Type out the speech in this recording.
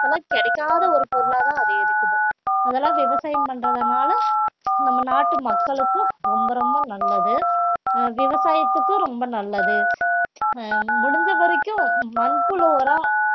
இப்போல கிடைக்காத ஒரு பொருளாதான் அது இருக்குது அதெல்லாம் விவசாயம் பண்றதுனால நம்ம நாட்டு மக்களுக்கும் ரொம்ப ரொம்ப நல்லது ஆஹ் விவசாயத்துக்கும் ரொம்ப நல்லது ஆஹ் முடிஞ்ச வரைக்கும் மண்புழு உரம்